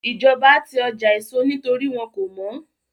Ìjọba ti ọjà èso nítorí wọ́n kò mọ́